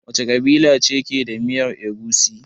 Wace kabila ce ke da miyar Egusi?